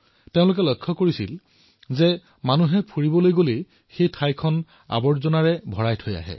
এওঁলোকে প্ৰায়েই দেখা পায় যে যেতিয়াই মানুহে বাহিৰলৈ ফুৰিবলৈ যায় তেতিয়া তাত বহু আৱৰ্জনা এৰি থৈ আহে